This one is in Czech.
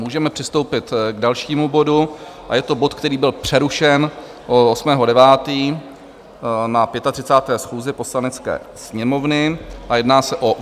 Můžeme přistoupit k dalšímu bodu a je to bod, který byl přerušen 8. 9. na 35. schůzi Poslanecké sněmovny a jedná se o